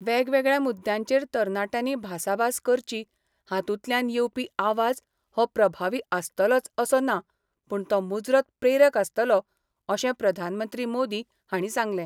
वेगवेगळ्या मुद्द्यांचेर तरणाट्यांनी भासाभास करची हातूंतल्यान येवपी आवाज हो प्रभावी आसतलोच असो ना पूण तो मुजरत प्रेरक आसतलो अशें प्रधानमंत्री मोदी हांणी सांगलें.